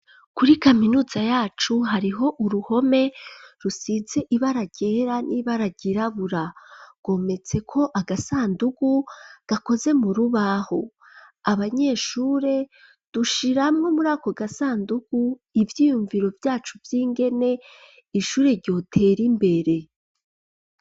Kuri kaminuza yacu hariho uruhome rusize ibara ryera n'ibara ryirabura, kometseko agasandugu gakoze mu rubaho ,abanyeshure dushiramwo muri ako gasandugu ivyiyumviro vyacu vy'ingene ishure ryotera imbere.